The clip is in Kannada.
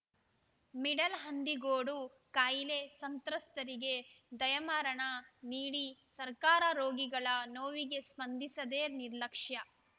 ಮಿಡಲ್‌ ಹಂದಿಗೋಡು ಕಾಯಿಲೆ ಸಂತ್ರಸ್ತರಿಗೆ ದಯಾಮರಣ ನೀಡಿ ಸರ್ಕಾರ ರೋಗಿಗಳ ನೋವಿಗೆ ಸ್ಪಂದಿಸದೇ ನಿರ್ಲಕ್ಷ್ಯ